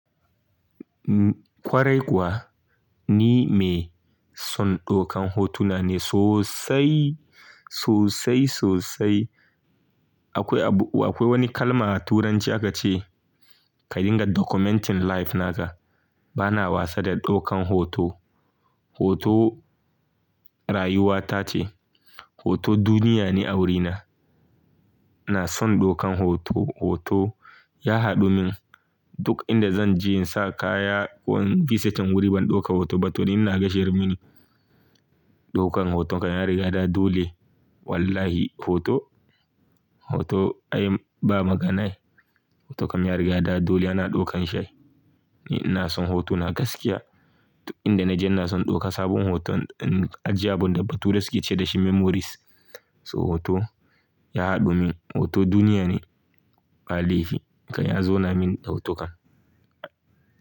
Ƙwarai kuwa ni mai son ɗaukan hotuna ne sosai, sosai, sosai. Akwai abu, akwai wani kalma a turanci aka ce "Ka dinga documenting life naka." Bana wasa da ɗaukan hoto. Hoto rayuwata ce, hoto duniya ne a wurina. Ina son ɗaukan hoto, hoto ya haɗu min duk inda zan je in sa kaya ko in visitin wuri ban ɗauka hoto ba to ni ina ga shir mene. Ɗaukan hoton kan ya riga da dole wallahi hoto, hoto ai ba magana aii. Hoto kam ya riga da dole ana ɗaukan shi. Ni ina son hoto na gaskiya. Duk inda naje ina son in ɗauka sabon hoton in aji abun da ba ture suke ce da shi memories. So hoto ya haɗu min, hoto duniya ne. Ba laifi ka ya zauna mini da hoton ka.